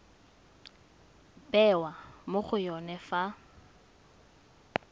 bewa mo go yone fa